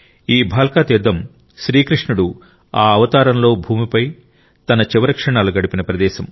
ఈ భాల్కా తీర్థం శ్రీకృష్ణుడు ఆ అవతారంలో భూమిపై తన చివరి క్షణాలు గడిపిన ప్రదేశం